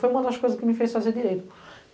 Foi uma das coisas que me fez fazer direito.